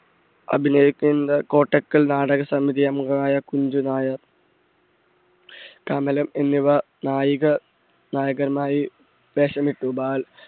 അഭിനയകേന്ദ്ര കോട്ടക്കൽ നാടക സമിതി അംഗമായ കുഞ്ചു നായർ, കമലം എന്നിവ നായിക നായകനായി വേഷമിട്ടു ബാൽ